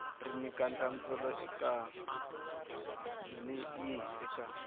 ri nyika nhlamuselo yihi eka